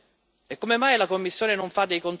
Chi doveva fare i controlli, signor Presidente?